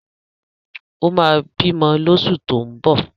Ó ma bímọ lóṣù tó ń bọ̀